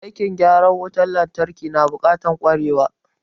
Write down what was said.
Aikin gyaran wutan lantarki na buƙatar ƙwarewa.